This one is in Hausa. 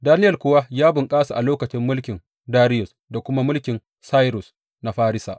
Daniyel kuwa ya bunkasa a lokacin mulkin Dariyus da kuma mulkin Sairus na Farisa.